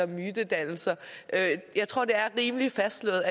mytedannelser jeg tror det er fastslået